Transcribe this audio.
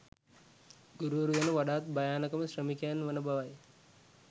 ගුරුවරු යනු වඩාත් භයානකම ශ්‍රමිකයන් වන බවයි